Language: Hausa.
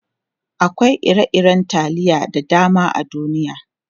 Akwai ire-iren taliya da dama a duniya.